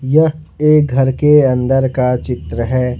यह एक घर के अंदर का चित्र है।